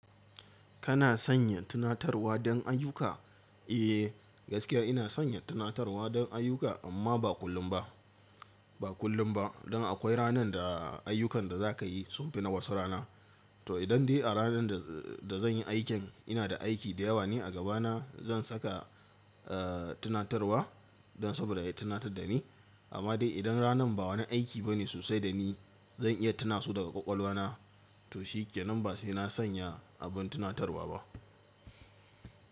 Kana sanya tunatarwa don ayyuka? Eh gaskiya ina sanya tunatarwa don ayyuka amma ba kullum ba, ba kullum ba. Don akwai ranan da ayyukan da za ka yi sun fi na wasu rana. To idan dai a ranan da, da zan yi aikin ina da aiki da yawa ne a gaba na zan saka, tunatarwa don saboda ya tunatar da ni. Amma dai idan ranan ba wani aiki bane sosai da ni zan iya tuna su daga ƙwaƙwalwa na. To shikdnan ba sai na sanya abin tunatarwa ba.